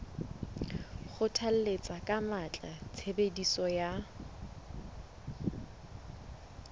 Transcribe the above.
kgothalletsa ka matla tshebediso ya